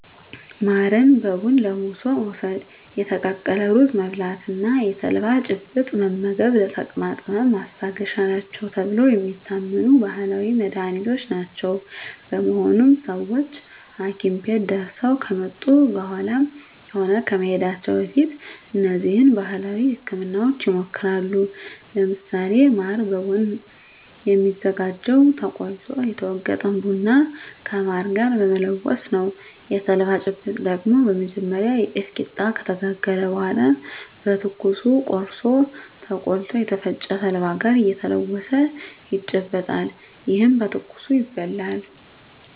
ማርን በቡና ለውሶ መውስድ፣ የተቀቀለ ሩዝ መብላት እና የተልባ ጭብጥ መመገብ ለተቅማጥ ህመም ማስታገሻ ናቸው ተብለው የሚታመኑ ባህላዊ መድሀኒቶች ናቸው። በመሆኑም ሰወች ሀኪም ቤት ደርሰው ከመጡ በኃላም ሆነ ከመሄዳቸው በፊት እነዚህን ባህላዊ ህክምናወች ይሞክራሉ። ለምሳሌ ማር በቡና የሚዘጋጀው ተቆልቶ የተወገጠን ቡና ከማር ጋር በመለወስ ነው። የተልባ ጭብጥ ደግሞ በመጀመሪያ የጤፍ ቂጣ ከተጋገረ በኃላ በትኩሱ ቆርሶ ተቆልቶ ከተፈጨ ተልባ ጋር እየተለወሰ ይጨበጣል። ይህም በትኩሱ ይበላል።